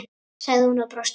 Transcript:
sagði hún og brosti.